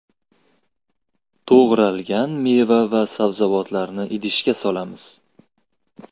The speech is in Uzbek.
To‘g‘ralgan meva va sabzavotlarni idishga solamiz.